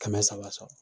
Kɛmɛ saba sɔrɔ